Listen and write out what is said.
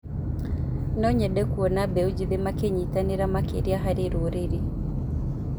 No nyende kuona mbeũ njĩthĩ makĩnyitanĩra makĩria harĩ rũrĩrĩ.